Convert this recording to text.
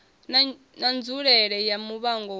na nzulele ya muvhango wapo